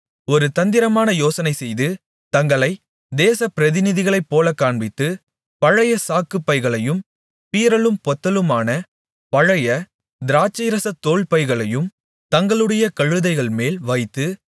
ஒரு தந்திரமான யோசனைசெய்து தங்களைப் தேச பிரதிநிதிகளைப் போலக்காண்பித்து பழைய சாக்குப் பைகளையும் பீறலும் பொத்தலுமான பழைய திராட்சைரசத் தோல்பைகளையும் தங்களுடைய கழுதைகள்மேல் வைத்து